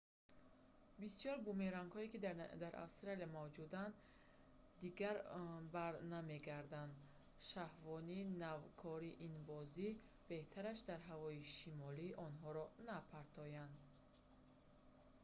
бисёр бумерангҳое ки дар австралия мавҷуданд дигар барнамегарданд шахвони навкори ин бозӣ беҳтараш дар ҳавои шамолӣ онҳоро напартоянд